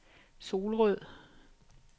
Solrød